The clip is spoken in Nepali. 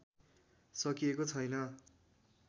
सकिएको छैन